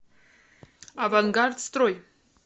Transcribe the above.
авангард строй